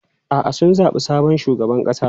A'a, sun zabi sabon shugaban ƙasa.